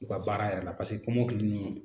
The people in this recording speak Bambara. U ka baara yɛrɛ la paseke kɔmɔkili ninnu